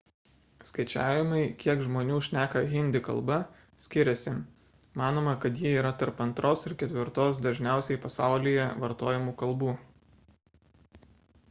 skaičiavimai kiek žmonių šneka hindi kalba skiriasi manoma kad ji yra tarp antros ir ketvirtos dažniausiai pasaulyje vartojamų kalbų